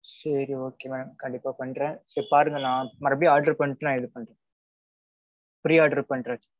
சேரி okay madam கண்டிப்பா பன்றேன் சரி பாருங்க நான் மறுபடியும் order பண்ணிட்டு நான் இது பண்றேன். free order பண்றேன்.